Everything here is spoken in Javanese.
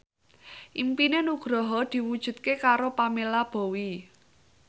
impine Nugroho diwujudke karo Pamela Bowie